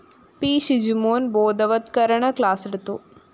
P Shijumon‍ ബോധവത്കരണ ക്ലാസെടുത്തു